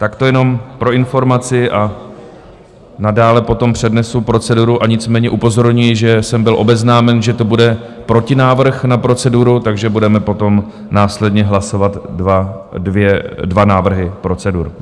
Tak to jenom pro informaci a nadále potom přednesu proceduru, a nicméně upozorňuji, že jsem byl obeznámen, že to bude protinávrh na proceduru, takže budeme potom následně hlasovat dva návrhy procedur.